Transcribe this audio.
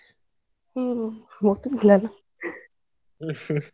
ಹ್ಮ್, ಓದುದಿಲ್ಲ ನಾವ್.